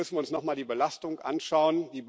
Da müssen wir uns nochmal die Belastung anschauen.